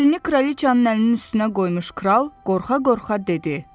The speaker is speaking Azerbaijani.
Əlini kraliçanın əlinin üstünə qoymuş kral qorxa-qorxa dedi: